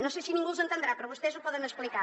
no sé si ningú els entendrà però vostès ho poden explicar